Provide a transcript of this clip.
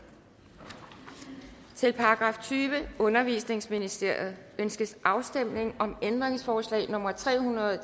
til § tyvende undervisningsministeriet ønskes afstemning om ændringsforslag nummer tre hundrede og